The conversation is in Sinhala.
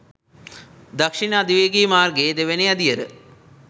දක්ෂිණ අධිවේගී මාර්ගයේ දෙවැනි අදියර